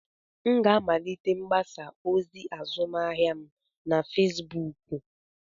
M ga-amalite mgbasa ozi azụmahịa m na Fezbuuku.